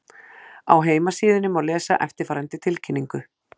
Á heimasíðunni má lesa eftirfarandi tilkynningu